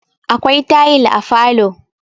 akwai tayil a falo